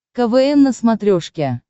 квн на смотрешке